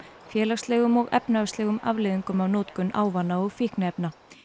félagslegum og efnahagslegum afleiðingum af notkun ávana og fíkniefna